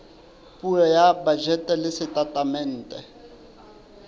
puo ya bajete le setatemente